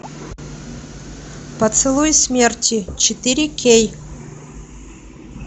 поцелуй смерти четыре кей